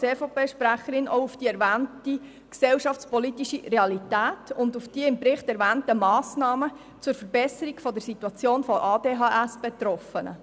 Deshalb konzentriere ich mich als EVP-Sprecherin auch auf die erwähnte gesellschaftspolitische Realität und auf die im Bericht erwähnten Massnahmen zur Verbesserung der Situation von ADHSBetroffenen.